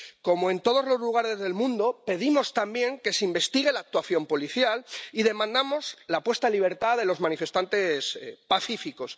Como en todos los lugares del mundo, pedimos también que se investigue la actuación policial y demandamos la puesta en libertad de los manifestantes pacíficos.